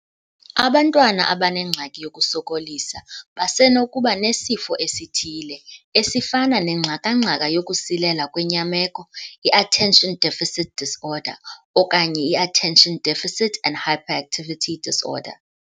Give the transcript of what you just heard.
Abantwana abanengxaki yokusokolisa basenokuba nesifo esithile, esifana nengxaka-ngxaka yokusilela kwenyameko, i-Attention Deficit Disorder, okanye i-Attention Deficit and Hyperactivity Disorder.